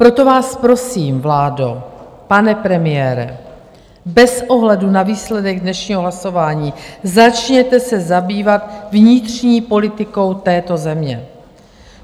Proto vás prosím, vládo, pane premiére, bez ohledu na výsledek dnešního hlasování, začněte se zabývat vnitřní politikou této země.